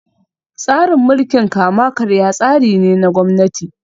Tsarin mulkin kama karya tsari ne na Gwamnati